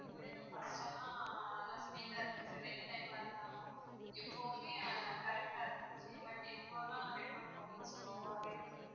first எல்லாம் நல்லா speed ஆ இருந்துச்சு rain time ஆ இருந்தாலும் எப்போதுமே correct ஆ இருந்துச்சு but இப்போ எல்லாம் network ரொம்பவே slow வா இருக்கு.